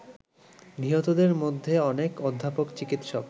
নিহতদের মধ্যে অনেক অধ্যাপক, চিকিৎসক